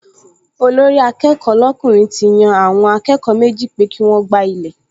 Olórí-akẹ́kọ̀ọ́ lọ́kùnrin ti yan àwọn akẹ́kọ̀ọ méjì pé kí wọ́n gbá ilẹ̀